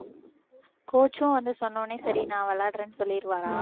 coach சும் வந்து சொன்னவுடனே சரி நான் விளையாடுறேன்னு சொல்லிருவாரா